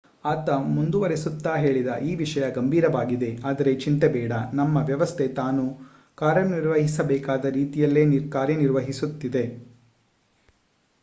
ಆತ ಮುಂದುವರೆಸುತ್ತಾ ಹೇಳಿದ ಈ ವಿಷಯ ಗಂಭೀರವಾಗಿದೆ. ಅದರೆ ಚಿಂತೆ ಬೇಡ ನಮ್ಮ ವ್ಯವಸ್ಥೆ ತಾನು ಕಾರ್ಯನಿರ್ವಹಿಸಬೇಕಾದ ರೀತಿಯಲ್ಲಿಯೇ ನಿರ್ವಹಿಸುತ್ತಿದೆ.